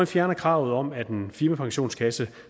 fjerner kravet om at en firmapensionskasse